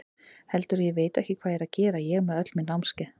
Heldurðu að ég viti ekki hvað ég er að gera, ég með öll mín námskeið.